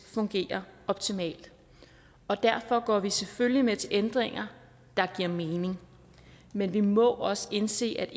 fungerer optimalt og derfor går vi selvfølgelig med til ændringer der giver mening men vi må også indse at